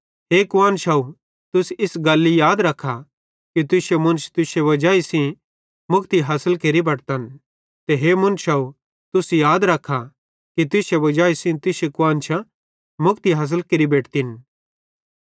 हे कुआन्शव तुस इस गल्ली याद रखा कि तुश्शे मुन्श तुश्शे वजाई सेइं मुक्ति हासिल केरि बटतन ते हे मुन्शव तुस याद रखा कि तुश्शे वजाई सेइं तुश्शी कुआन्शां मुक्ति हासिल केरि बेटतिन